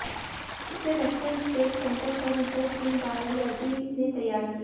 इसे vector state centre for research in virology ने तैयार किया है